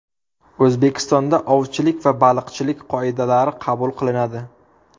O‘zbekistonda ovchilik va baliqchilik qoidalari qabul qilinadi.